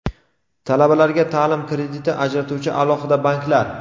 Talabalarga ta’lim krediti ajratuvchi alohida banklar.